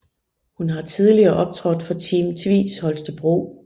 Hun har tidligere optrådt for Team Tvis Holstebro